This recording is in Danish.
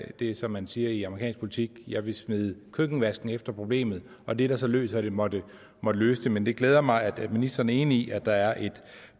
det det er som man siger i amerikansk politik jeg vil smide køkkenvasken efter problemet og det der så løser det må det må løse det men det glæder mig at ministeren er enig i at der er et